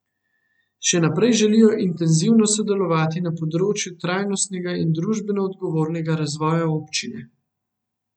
Še naprej želijo intenzivno sodelovati na področju trajnostnega in družbeno odgovornega razvoja občine.